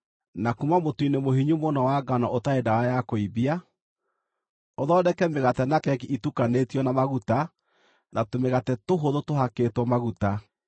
Na kuuma mũtu-inĩ mũhinyu mũno wa ngano ũtarĩ ndawa ya kũimbia, ũthondeke mĩgate na keki itukanĩtio na maguta na tũmĩgate tũhũthũ tũhakĩtwo maguta.